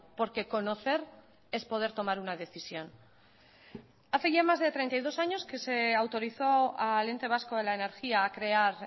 porque conocer es poder tomar una decisión hace ya más de treinta y dos años que se autorizó al ente vasco de la energía a crear